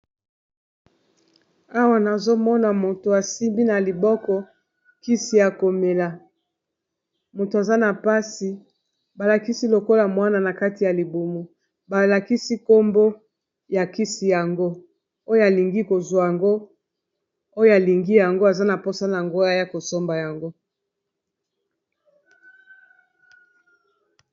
Awa nazomona moto asimbi na liboko kisi ya komela moto aza na mpasi balakisi lokola mwana na kati ya libumu balakisi nkombo ya kisi yango oyo alingi kozwa yango oyo alingi yango aza na mposa na ngo aya kosomba yango.